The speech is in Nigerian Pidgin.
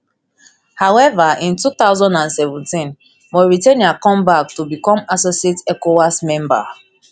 however in two thousand and seventeen mauritania come back to become associate ecowas member